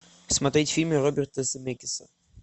смотреть фильмы роберта земекиса